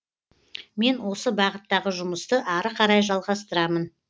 мен осы бағыттағы жұмысты ары қарай жалғастырамын